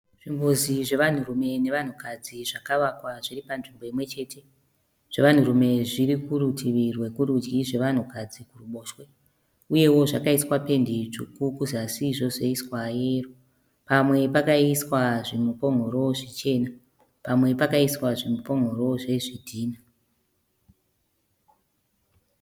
Zvimbuzi zvevanhurume nevanhukadzi zvakavakwa zviri panzvimbo imwechete. Zvevanhurume zviri kurutivi rwekurudyi, zvevanhukadzi kuruboshe. Uyewo zvakaiswa pendi itsvuku kuzasi, zvosoiswa yeyero. Pamwe pakaiswa zvimupon'oro zvichena, pamwe pakaiswa zvimupon'oro zvezvidhinha.